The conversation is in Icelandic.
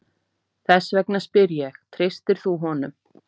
Þess vegna spyr ég, treystir þú honum?